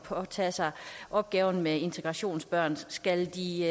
påtage sig opgaven med integration af børn skal de